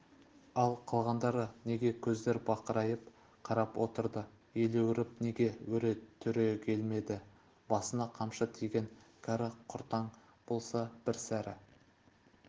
ал қалғандары неге көздер бақырайып қарап отырды елеуіреп неге өре түрегелмеді басына қамшы тиген кәрі-құртаң болса бір сәрі